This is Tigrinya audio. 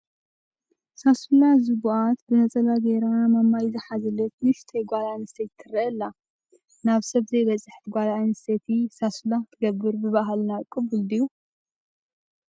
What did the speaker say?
ሳሱላ ዘቡኣት ብነፀላ ገይራ ማማይ ዝሓዘለት ንእሽቲ ጓል ኣነስተይቲ ትርአ ኣላ፡፡ ናብ ሰብ ዘይበፅሐት ጓል ኣነስተይቲ ሳሱላ ክትገብር ብባህልና ቅቡል ድዮ?